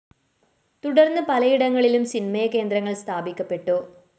തുടര്‍ന്ന് പലയിടങ്ങളിലും ചിന്മയ കേന്ദ്രങ്ങള്‍ സ്ഥാപിക്കപ്പെട്ടു